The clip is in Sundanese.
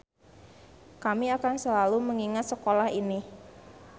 Kami akan selalu mengingat sekolah ini.